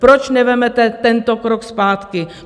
Proč nevezmete tento krok zpátky?